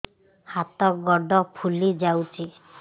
ହାତ ଗୋଡ଼ ଫୁଲି ଯାଉଛି